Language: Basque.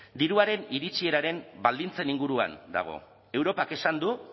diruaren iritsieraren baldintzen inguruan dago europak esan du